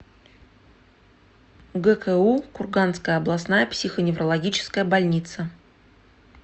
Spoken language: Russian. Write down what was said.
гку курганская областная психоневрологическая больница